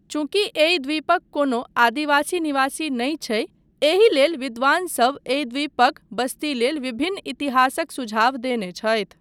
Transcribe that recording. चूँकि एहि द्वीपक कोनो आदिवासी निवासी नहि छै, एहि लेल विद्वानसब एहि द्वीपक बस्ती लेल विभिन्न इतिहासक सुझाव देने छथि।